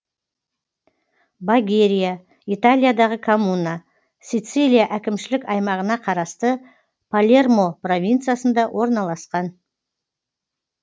багерия италиядағы коммуна сицилия әкімшілік аймағына қарасты палермо провинциясында орналасқан